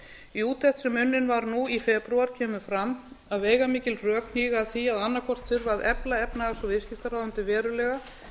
í úttekt sem unnin var nú í febrúar kemur fram að veigamikil rök hnígi að því að annaðhvort þurfi að efla efnahags og viðskiptaráðuneytið verulega